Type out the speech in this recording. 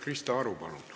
Krista Aru, palun!